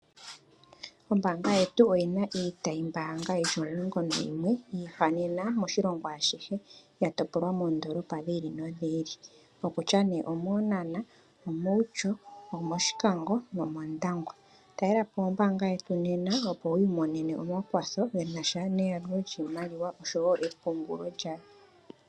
Ombaanga yetu oyina iitayi mbaanga yili omulongo nayimwe yi ihanena moshilongo ashihe, ya topolwa moondoolopa dhi ili nodhi ili. Okutya nduno omEenhana, omOutjo, omOshikango nomOndangwa. Talelapo ombaanga yetu nena opo wu imonene omakwatho ge nasha neyalulo lyiimaliwa osho wo epungulo lyayo.